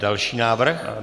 Další návrh.